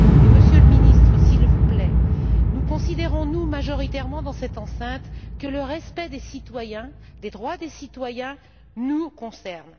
Monsieur le Ministre, s'il vous plaît, considérons nous majoritairement dans cette enceinte que le respect des citoyens, des droits des citoyens nous concerne?